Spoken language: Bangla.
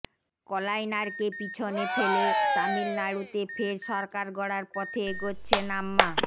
কলাইনারকে পিছনে ফেলে তামিলনাড়ুতে ফের সরকার গড়ার পথে এগোচ্ছেন আম্মা